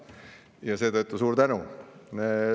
Ja seetõttu suur tänu!